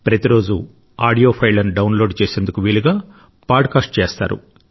ప్రతిరోజూ ఆడియో ఫైళ్లను download చేసేందుకు వీలుగా పాడ్ కాస్ట్ చేస్తారు